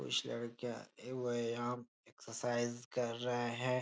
कुछ लड़कियां ए व्यायाम एक्सरसाइज कर रहे है।